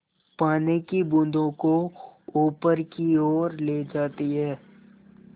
पानी की बूँदों को ऊपर की ओर ले जाती है